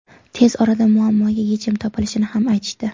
Tez orada muammoga yechim topilishini ham aytishdi.